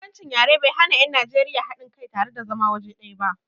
Bambancin yare bai hana 'yan Najeriya haɗin kai tare da zama waje ɗaya ba.